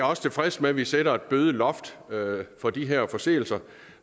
også tilfreds med at vi sætter et bødeloft for de her forseelser